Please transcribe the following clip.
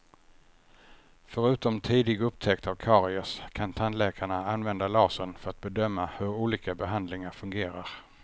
Förutom tidig upptäckt av karies kan tandläkarna använda lasern för att bedöma hur olika behandlingar fungerar.